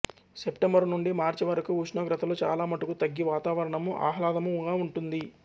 September నుండి మార్చి వరకు ఉష్ణోగ్రతలు చాలా మటుకు తగ్గి వాతావరణము ఆహ్లాదముగా ఉంటుంది